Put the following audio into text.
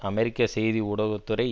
அமெரிக்க செய்தி ஊடகத்துறை